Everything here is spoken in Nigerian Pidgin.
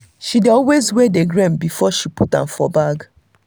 she dey always weigh the grain before she put am for bag.